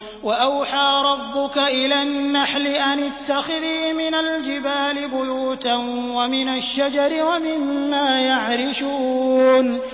وَأَوْحَىٰ رَبُّكَ إِلَى النَّحْلِ أَنِ اتَّخِذِي مِنَ الْجِبَالِ بُيُوتًا وَمِنَ الشَّجَرِ وَمِمَّا يَعْرِشُونَ